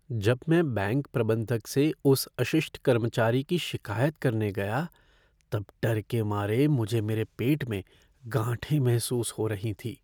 जब मैं बैंक प्रबंधक से उस अशिष्ट कर्मचारी की शिक़ायत करने गया तब डर के मारे मुझे मेरे पेट में गांठें महसूस हो रही थीं।